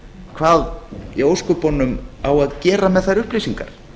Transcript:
hvað í ósköpunum á að gera með þær upplýsingar